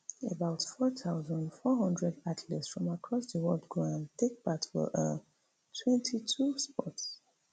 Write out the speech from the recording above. about four thousand, four hundred athletes from across di world go um take part for um twenty-two sports